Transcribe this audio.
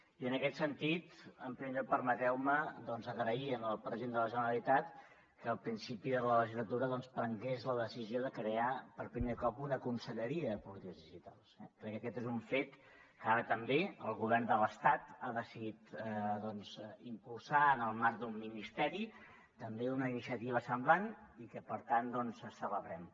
i en aquest sentit en primer lloc permeteu me doncs agrair al president de la generalitat que al principi de la legislatura doncs prengués la decisió de crear per primer cop una conselleria de polítiques digitals eh crec que aquest és un fet que ara també el govern de l’estat ha decidit doncs impulsar en el marc d’un ministeri també una iniciativa semblant i que per tant doncs celebrem